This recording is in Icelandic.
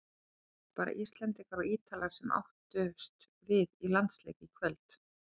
Það voru ekki bara Íslendingar og Ítalir sem áttust við í landsleik í kvöld.